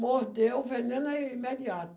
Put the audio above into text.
Mordeu o veneno é imediato.